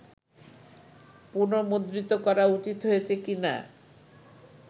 পুনর্মুদ্রিত করা উচিত হইয়াছে কি না